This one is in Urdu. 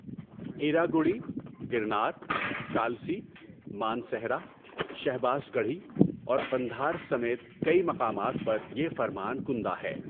ایراگوڑی، گِرنار، کالسی، مانسہرہ، شہباز گڑھی اور قندھار سمیت کئی مقامات پر یہ فرمان کندہ ہے۔